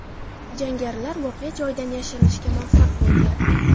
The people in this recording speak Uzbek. Jangarilar voqea joyidan yashirinishga muvaffaq bo‘lgan.